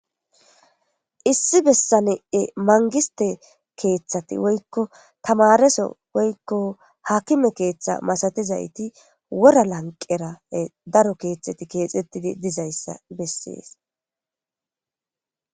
issi bessanee mangiste keeththati woykko tamareso woykko hakime keeththa masatizayti wora lanqera daro keeththati keexxettidi dizayssa bessees